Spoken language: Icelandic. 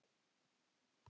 Skiptir það engu máli?